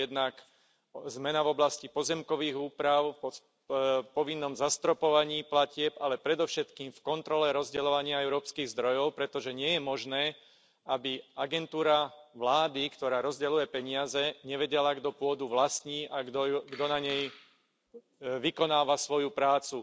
Je to jednak zmena v oblasti pozemkových úprav, povinnom zastropovaní platieb, ale predovšetkým v kontrole rozdeľovania európskych zdrojov, pretože nie je možné, aby agentúra vlády, ktorá rozdeľuje peniaze, nevedela, kto pôdu vlastní a kto na nej vykonáva svoju prácu.